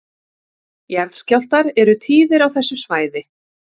Jarðskjálftar eru tíðir á þessu svæði